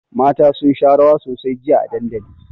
Mata sun sha rawa sosai jiya a dandali.